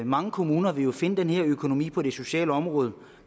mange kommuner vil finde den her økonomi på det sociale område